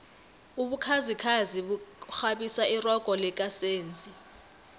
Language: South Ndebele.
ubukhazikhazi bukghabisa irogo lika senzi